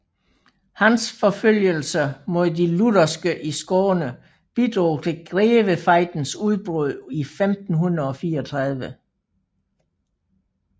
Hans forfølgelser mod de lutherske i Skåne bidrog til Grevefejdens udbrud 1534